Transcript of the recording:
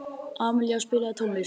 Amilía, spilaðu tónlist.